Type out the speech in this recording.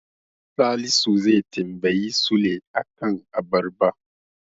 Salisu zai tambayi Sule a kan abarba.